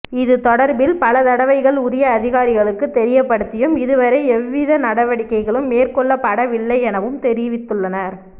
இது தொடர்பில் பலதடவைகள் உரிய அதிகாரிகளுக்கு தெரியப்படுத்தியும் இதுவரை எவ்வித நடவடிக்கைகளும் மேற்கொள்ளப்படவில்லை எனவும் தெரிவிததுள்ளனர்